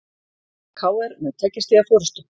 KR með tveggja stiga forystu